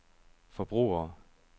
forbrugere